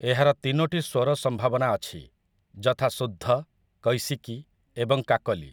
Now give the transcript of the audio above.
ଏହାର ତିନୋଟି ସ୍ୱର ସମ୍ଭାବନା ଅଛି, ଯଥା ସୁଦ୍ଧ, କୈସିକି ଏବଂ କାକଲି ।